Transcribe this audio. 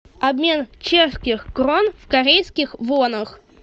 обмен чешских крон в корейских вонах